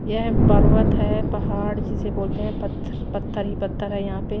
यह एक पर्वत है पहाड़ जिसे बोलते हैं पत्थर पत्थर ही पत्थर हैं यहां पे।